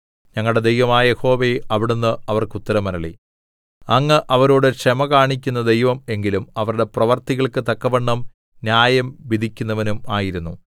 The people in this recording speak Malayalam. ഞങ്ങളുടെ ദൈവമായ യഹോവേ അവിടുന്ന് അവർക്കുത്തരമരുളി അങ്ങ് അവരോട് ക്ഷമ കാണിക്കുന്ന ദൈവം എങ്കിലും അവരുടെ പ്രവൃത്തികൾക്ക് തക്കവണ്ണം ന്യായം വിധിക്കുന്നവനും ആയിരുന്നു